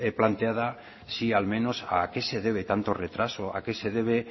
planteada sí al menos a qué se debe tanto retraso a qué se debe